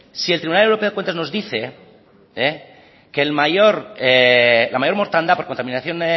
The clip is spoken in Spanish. si el tribunal europeo de cuentas nos dice que la mayor mortandad por contaminación